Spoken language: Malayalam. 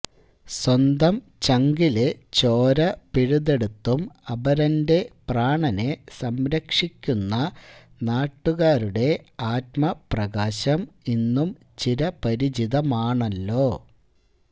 സ്വന്തം ചങ്കിലെ ചോര പിഴുതെടുത്തും അപരന്റെ പ്രാണനെ സംരക്ഷിക്കുന്ന നാട്ടുകാരുടെ ആത്മപ്രകാശം ഇന്നും ചിരപരിചിതമാണല്ലോ